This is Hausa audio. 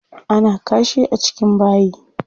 Ana kashi a cikin bayi.